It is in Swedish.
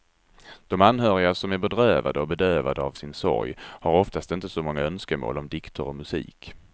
De anhöriga, som är bedrövade och bedövade av sin sorg, har oftast inte så många önskemål om dikter och musik.